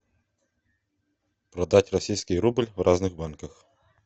продать российский рубль в разных банках